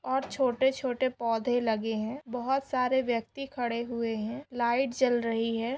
और छोटे छोटे पौंधे लगे है बहुत सारे व्यक्ति खड़े हुये है लाईट जल रही है।